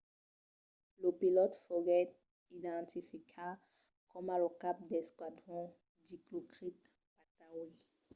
lo pilòt foguèt identificat coma lo cap d'esquadron dilokrit pattawee